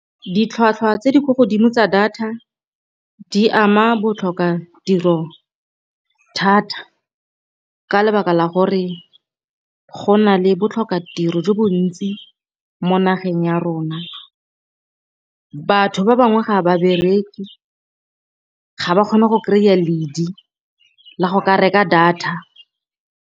Ditlhwatlhwa tse di kwa godimo tsa data di ama botlhokatiro thata ka lebaka la gore go na le botlhokatiro jo bo ntsi mo nageng ya rona. Batho ba bangwe ga ba bereke ga ba kgone go kry-a ledi la go ka reka data.